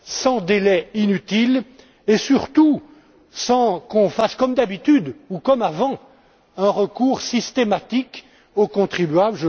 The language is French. sans délai inutile et surtout sans qu'on fasse comme d'habitude ou comme avant un recours systématique au contribuable.